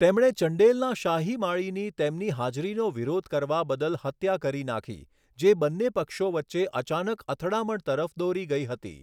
તેમણે ચંડેલના શાહી માળીની તેમની હાજરીનો વિરોધ કરવા બદલ હત્યા કરી નાખી, જે બન્ને પક્ષો વચ્ચે અચાનક અથડામણ તરફ દોરી ગઈ હતી.